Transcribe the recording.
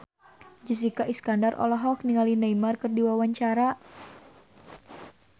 Jessica Iskandar olohok ningali Neymar keur diwawancara